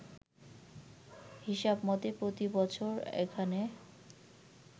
হিসাবমতে প্রতিবছর এখানে